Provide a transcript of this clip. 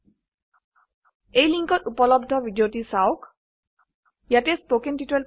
spoken tutorial projectৰ বিষয়ে অধিক জানিবলৈ তলৰ সংযোগত থকা ভিডিঅ চাওক